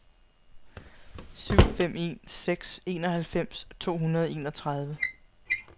syv fem en seks enoghalvfems to hundrede og enogtredive